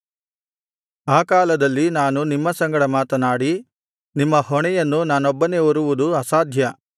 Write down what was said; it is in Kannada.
ಆ ಕಾಲದಲ್ಲಿ ನಾನು ನಿಮ್ಮ ಸಂಗಡ ಮಾತನಾಡಿ ನಿಮ್ಮ ಹೊಣೆಯನ್ನು ನಾನೊಬ್ಬನೇ ಹೊರುವುದು ಅಸಾಧ್ಯ